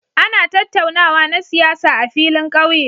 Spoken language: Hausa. Ana tattaunawa na siyasa a filin ƙauye.